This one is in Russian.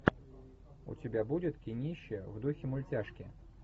у тебя будет кинище в духе мультяшки